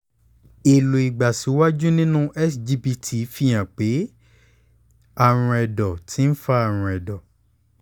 helloìgbàsíwájú nínú sgpt fi hàn pé àrùn ẹ̀dọ̀ ti ń fa àrùn ẹ̀dọ̀